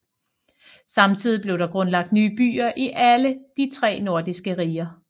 Samtidigt blev der grundlagt nye byer i alle de tre nordiske riger